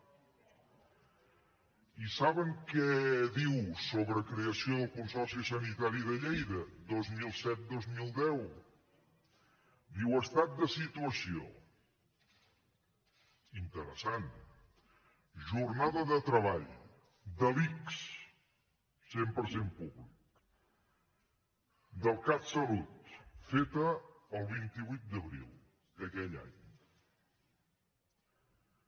i saben què diu sobre creació del consorci sanitari de lleida dos mil set dos mil deu diu estat de situació interessant jornada de treball de l’ics cent per cent públic del catsalut feta el vint vuit d’abril d’aquell any